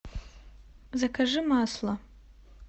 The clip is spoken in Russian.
закажи масло